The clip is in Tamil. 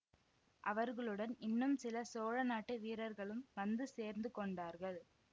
அவர்களுடன் இன்னும் சில சோழ நாட்டு வீரர்களும் வந்து சேர்ந்து கொண்டார்கள்